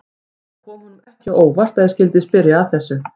Það kom honum ekki á óvart að ég skyldi spyrja að þessu.